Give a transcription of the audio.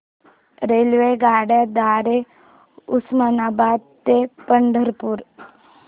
रेल्वेगाड्यां द्वारे उस्मानाबाद ते पंढरपूर